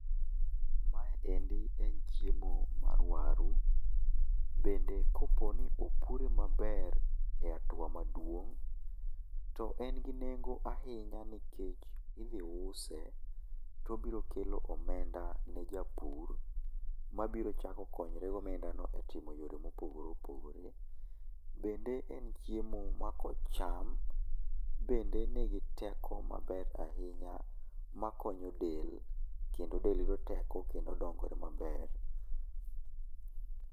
Mae endi en chiemo mar waru. Bende kopo ni opure maber e atua maduong' to en gi nengo ahinya nikech idhi use to obiro kelo omenda ne japur, mabiro chako konyre gi omenda no e timo yore mopogore opogore. Bende en chiemo ma kocham, bende nigi teko maber ahinya ma konyo del, kendo del yudo teko kendo dongo maber.